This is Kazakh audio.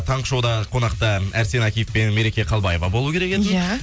таңғы шоуда қонақта әрсен әкиев пен мереке қалбаева болуы керек еді иә